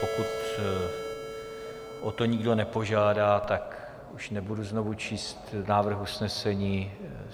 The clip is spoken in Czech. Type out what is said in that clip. Pokud o to nikdo nepožádá, tak už nebudu znovu číst návrh usnesení.